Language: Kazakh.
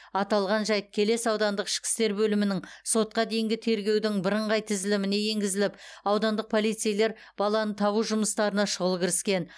аталған жайт келес аудандық ішкі істер бөлімінің сотқа дейінгі тергеудің бірыңғай тізіліміне енгізіліп аудандық полицейлер баланы табу жұмыстарына шұғыл кіріскен